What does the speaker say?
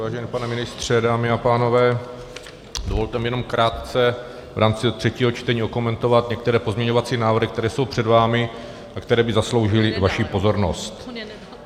Vážený pane ministře, dámy a pánové, dovolte mi jenom krátce v rámci třetího čtení okomentovat některé pozměňovací návrhy, které jsou před vámi a které by zasloužily vaši pozornost.